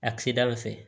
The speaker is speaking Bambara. A kida o fɛ